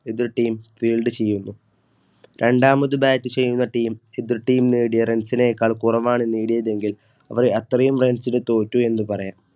എതിർ Team Field ചെയ്യുന്നുരണ്ടാമത് bat ചെയ്യുന്ന Team എതിർ Team നേടിയ Runs നെക്കാൾ കുറവാണ് നേടിയത് എങ്കിൽ അവർ അത്രയും Runs തോറ്റു എന്ന് പറയാം.